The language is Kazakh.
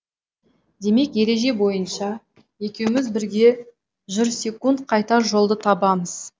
демек ереже бойынша екеуміз бірге жүрсекунд қайтар жолды табамыз